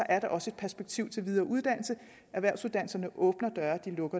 er der også et perspektiv for videre uddannelse erhvervsuddannelserne åbner